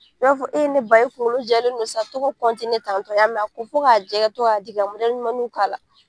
I b'a fɔ ee ne ba e kunkolo jɛlen don sa, to ka tan tɔ ; i y'a mɛn wa. A ko fo k'a jɛ i ka to ka digi ka ɲumannin k'a la.